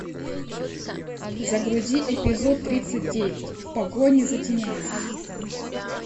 загрузи эпизод тридцать девять в погоне за тенями